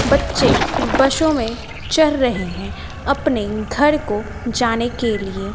बच्चे बसों में चर रहे है अपने घर को जाने के लिए।